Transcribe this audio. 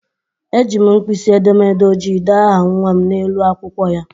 Ejiri m mpkisi edemede ojii dee aha nnwa m n'elu akwụkwọ ya.